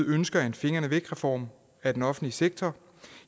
ønsker en fingrene væk reform af den offentlige sektor